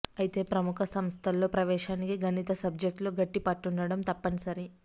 అయితే ప్రముఖ సంస్థల్లో ప్రవేశానికి గణిత సబ్జెక్టులో గట్టి పట్టుండడం తప్పనిసరి